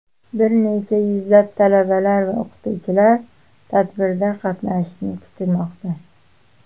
Bir necha yuzlab talabalar va o‘qituvchilar tadbirda qatnashishi kutilmoqda.